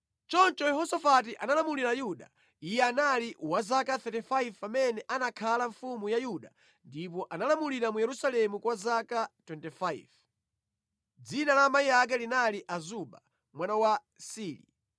Choncho Yehosafati analamulira Yuda. Iye anali wa zaka 35 pamene anakhala mfumu ya Yuda ndipo analamulira mu Yerusalemu kwa zaka 25. Dzina la amayi ake linali Azuba mwana wa Sili.